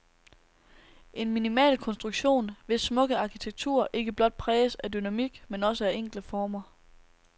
En minimalkonstruktion, hvis smukke arkitektur ikke blot præges af dynamik, men også af enkle former.